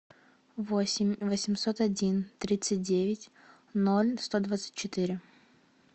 восемь восемьсот один тридцать девять ноль сто двадцать четыре